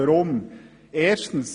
Weshalb dies?